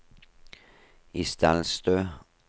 Isdalstø